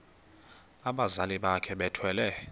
abazali bakhe bethwele